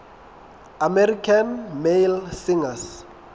american male singers